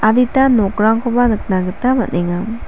adita nokrangkoba nikna gita man·enga.